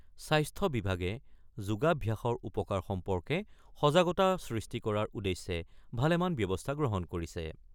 স্বাস্থ্য বিভাগে যোগাভ্যাসৰ উপকাৰ সম্পৰ্কে সজাগতা সৃষ্টি কৰাৰ উদ্দেশ্যে ভালেমান ব্যৱস্থা গ্ৰহণ কৰিছে।